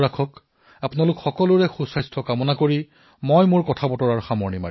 আপোনালোক সকলোৰে উত্তম স্বাস্থ্যৰ কামনা কৰি মই মোৰ ভাষণ সামৰিছো